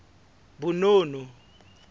bonono